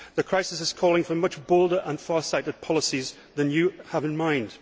The crisis is calling for much bolder and more far sighted policies than you have in mind.